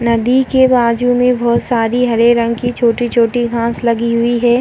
नदी के बाजू में बोहोत सारी हरे रंग के छोटी-छोटी घास लगी हुई है।